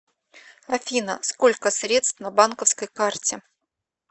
афина сколько средств на банковской карте